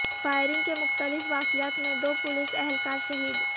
firing کے مختلف واقعات میں دو پولیس اہلکار شہید